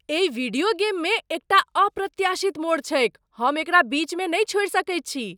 एहि वीडियो गेममे एकटा अप्रत्याशित मोड़ छैक, हम एकरा बीचमे नहि छोड़ि सकैत छी।